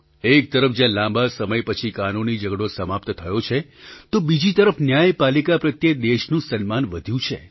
એક તરફ જ્યાં લાંબા સમય પછી કાનૂની ઝઘડો સમાપ્ત થયો છે તો બીજી તરફ ન્યાયપાલિકા પ્રત્યે દેશનું સન્માન વધ્યું છે